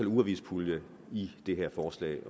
ugeavispulje i det her forslag